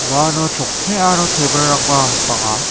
uano chokki aro table -rangba bang·a.